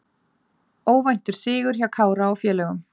Óvæntur sigur hjá Kára og félögum